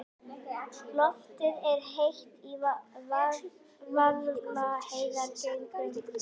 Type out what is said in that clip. Loftið er heitt í Vaðlaheiðargöngum.